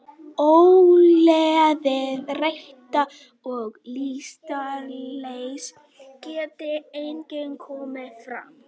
Ógleði, þreyta og lystarleysi geta einnig komið fram.